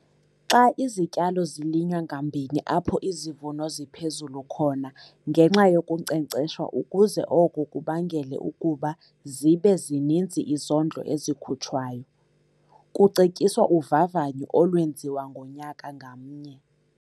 Xa izityalo zilinywa ngambini apho izivuno ziphezulu khona ngenxa yokunkcenkceshwa ukuze oko kubangele ukuba zibe zininzi izondlo ezikhutshwayo, kucetyiswa uvavanyo olwenziwa ngonyaka ngamnye.